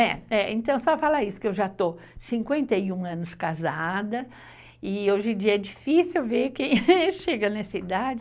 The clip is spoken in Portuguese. Então, só falar isso, que eu já estou cinquenta e um anos casada e hoje em dia é difícil ver quem chega nessa idade.